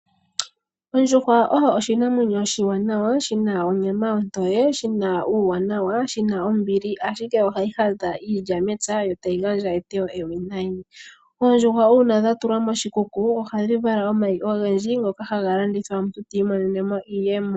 Ondjuhwa oyo oshinamwenyo oshiwanawa shina onyama ontoye, shina uuwanawa shina, ombili ashike ohayi hadha iilya mepya yo tayi gandja eteyo ewinayi. Oondjuhwa uuna dha tulwa moshikuku ohadhi vala omayi ogendji ngoka haga landithwa omuntu ta imonene iiyemo.